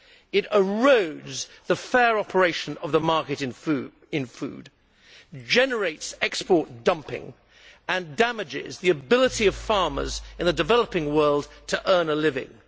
It erodes the fair operation of the market in food, generates export dumping and damages the ability of farmers in the developing world to earn a living.